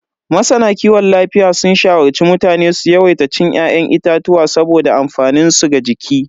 Masana kiwon lafiya sun shawarci mutane su yawaita cin ya'yan itatuwa saboda amfaninsu ga jiki.